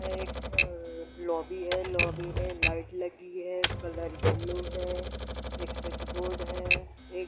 ये एक अअअ लोबी है | लोबी में लाइट लगी है कलर येलो है एक स्विच बोर्ड है | एक --